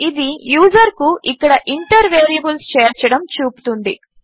ఇది యూజర్కు ఇక్కడ ఇంటర్ వేరియబుల్స్ చేర్చడము చూపుతుంది